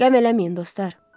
Qəm eləməyin, dostlar.